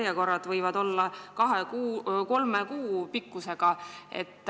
Järjekorrad võivad olla kahe või kolme kuu pikkused.